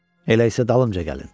Elə isə dalımca gəlin.